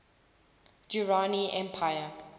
durrani empire